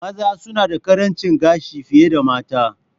Maza suna da ƙarancin gashi fiye da mata.